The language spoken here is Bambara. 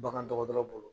Bagan dɔgɔtɔrɔ bolo